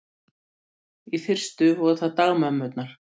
Í fyrstu voru það dagmömmurnar.